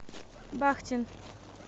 бахтин